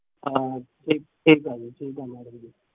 ਸਹੀ ਗਲ ਸਹੀ ਗਲ